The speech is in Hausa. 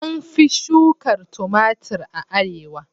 An fi shuka tumatir a arewa.